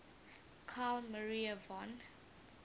carl maria von